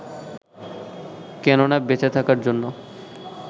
কেননা বেঁচে থাকার জন্য